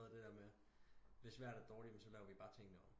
Noget af det der med hvis vejret er dårligt så laver vi det bare om